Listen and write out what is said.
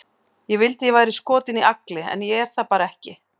Ég vildi að ég væri skotin í Agli, en ég er það bara ekki.